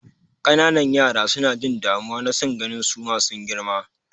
Ƙananan yara suna jin damuwa na son ganin suma sun girma.